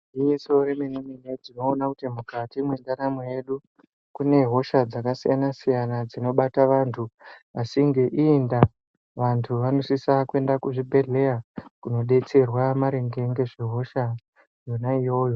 Igwinyiso remene-mene, tinoona kuti mukati mwendaramo yedu, kune hosha dzakasiyana-siyana dzinobata vantu. Asi ngeiyi ndaa, vantu vanosisa kuenda kuzvibhedhleya, kunodetserwa maringe ngezvehosha yona iyoyo.